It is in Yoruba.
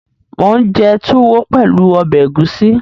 Mò ún jẹ túwó pẹ̀lú ọbẹ̀ ẹ̀gúsí